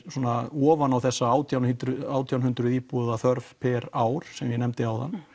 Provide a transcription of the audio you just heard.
ofan á þessa átján hundruð átján hundruð íbúða þörf á ári sem ég nefndi áðan